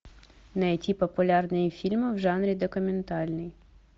найти популярные фильмы в жанре документальный